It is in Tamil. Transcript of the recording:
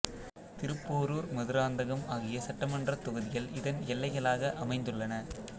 திருப்போரூர் மதுராந்தகம் ஆகிய சட்டமன்றத் தொகுதிகள் இதன் எல்லைகளாக அமைந்துள்ளன